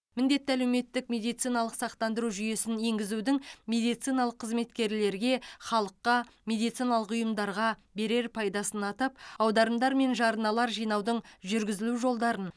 міндетті әлеуметтік медициналық сақтандыру жүйесін енгізудің медициналық қызметкерлерге халыққа медициналық ұйымдарға берер пайдасын атап аударымдар мен жарналар жинаудың жүргізілу жолдарын